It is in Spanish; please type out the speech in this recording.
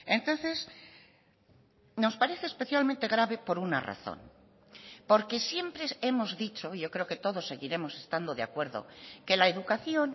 entonces nos parece especialmente grave por una razón porque siempre hemos dicho yo creo que todos seguiremos estando de acuerdo que la educación